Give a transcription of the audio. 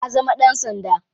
Ya zama dan sanda.